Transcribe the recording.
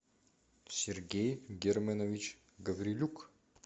сергей германович гаврилюк